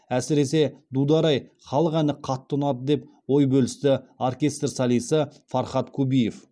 әсіресе дудар ай халық әні қатты ұнады деп ой бөлісті оркестр солисі фархат кубиев